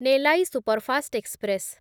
Nellai superfast express